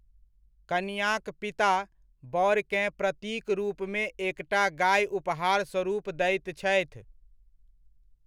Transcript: कनिआँक पिता बरकेँ प्रतीक रूपमे एकटा गाए उपहारस्वरुप दैत छथि।